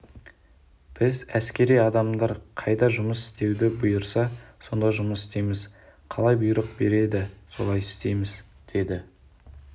біз әскери адамдар қайда жұмыс істеуді бұйырса сонда жұмыс істейміз қалай бұйрық береді солай істейміз деді